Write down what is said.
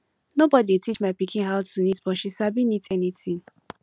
nobody dey teach my pikin how to knit but she sabi knit anything